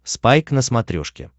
спайк на смотрешке